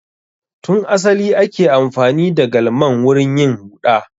Tun asali ake amfani da Galman wurin yin huɗa.